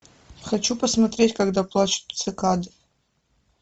хочу посмотреть когда плачут цикады